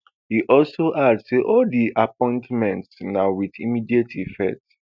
e also add say all di appointments na wit immediate effect